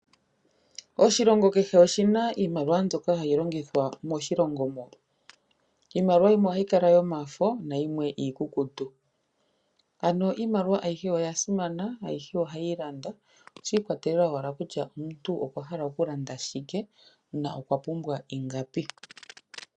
Oshilongo kehe oshina iimaliwa mbyoka hayi longithwa moshilongo mo. Iimaliwa yimwe ohayi kala yomafo nayimwe iikukutu. Ano iimaliwa ayihe oya simana ayihe ohayi landa shi ikwatelela owala kutya omuntu okwa hala oku landa shike na okwa pumbwa ingapi.